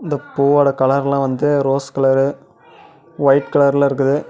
இந்த பூவோட கலர்லாம் வந்து ரோஸ் கலரு வொய்ட் கலர்ல இருக்குது.